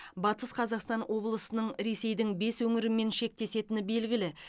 батыс қазақстан облысының ресейдің бес өңірімен шектесетіні белгілі